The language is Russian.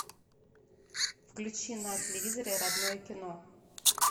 включи на телевизоре родное кино